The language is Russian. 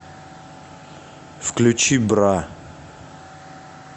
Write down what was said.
включи бра